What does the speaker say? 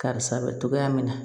Karisa bɛ togoya min na